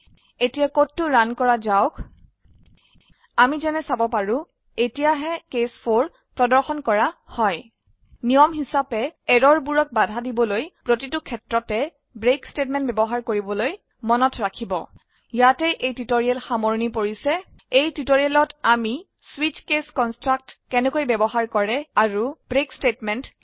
এতিয়া কদটো ৰান কৰা যাওক আমি যেনে চাব পাৰো এতিয়া হে কেচ 4 প্ৰৰ্দশন কৰা হয় নিয়ম হিচাবে এৰৰ বোৰক বাধা দিবলৈ প্ৰতিটো ক্ষেত্ৰতে ব্ৰেক ষ্টেটমেণ্ট বয়ৱহাৰ কৰিবলৈ মনত ৰাখিব ইয়াতে এই টিউটৰীয়েল সামৰনি পৰিছে এই টিউটৰীয়েলত আমিswitch কেচ কনষ্ট্ৰাক্ট কেনেকৈ বয়ৱহাৰ কৰে আৰু ব্ৰেক ষ্টেটমেণ্ট